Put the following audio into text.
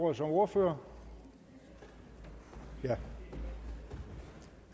ordet som ordfører herre